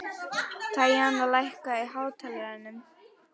Tanya, lækkaðu í hátalaranum.